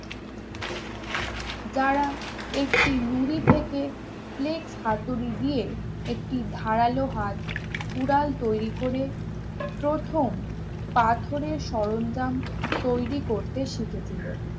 যারা একটি নুড়ি থেকে flex হাতুড়ি দিয়ে একটি ধারালো হাত উড়াল তৈরি করে প্রথম পাথরের সরঞ্জাম তৈরি করতে শিখেছিল